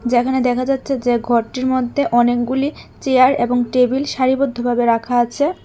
যেখানে দেখা যাচ্ছে যে ঘরটির মধ্যে অনেকগুলি চেয়ার এবং টেবিল সারিবদ্ধভাবে রাখা আছে।